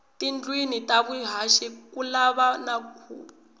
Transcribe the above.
tindlwini ta vuhaxi kulava na khuvo